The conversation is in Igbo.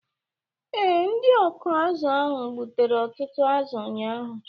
Ee, ndị ọkụ azụ̀ ahụ gbutere ọtụtụ azụ ụnyahụ